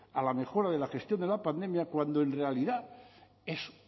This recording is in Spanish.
a la mejora de la gestión de la pandemia cuando en realidad es